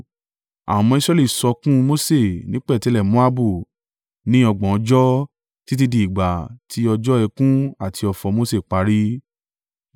Àwọn ọmọ Israẹli sọkún un Mose ní pẹ̀tẹ́lẹ̀ Moabu ní ọgbọ̀n ọjọ́ títí di ìgbà tí ọjọ́ ẹkún àti ọ̀fọ̀ Mose parí.